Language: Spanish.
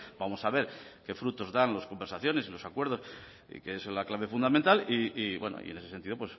vamos a ver qué frutos dan las conversaciones y los acuerdos que es la clave fundamental y bueno en ese sentido